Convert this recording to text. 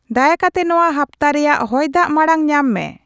ᱫᱟᱭᱟ ᱠᱟᱛᱮ ᱱᱚᱣᱟ ᱦᱟᱯᱛᱟᱨᱮᱭᱟᱜ ᱦᱚᱭ ᱫᱟᱜ ᱢᱟᱲᱟᱝ ᱧᱟᱢ ᱢᱮ